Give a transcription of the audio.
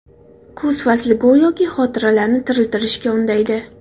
Kuz fasli go‘yoki xotiralarni tiriltirishga undaydi.